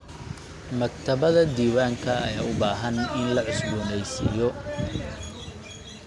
Maktabadda diiwaanka ayaa u baahan in la cusboonaysiiyo.